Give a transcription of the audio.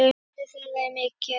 Skaði þeirra er mikill.